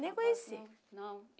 Nem conheci. Não